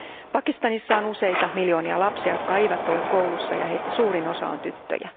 Pakistanissa on useita miljoonia lapsia, jotka eivät ole koulussa ja heistä suurin osa on tyttöjä.